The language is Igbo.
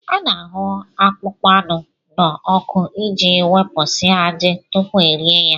A na-ahụ akpụkpọ anụ n'ọkụ iji wepụsịa ajị tupu e rie ya